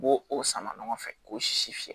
U b'o o sama ɲɔgɔn fɛ k'o sisi fiyɛ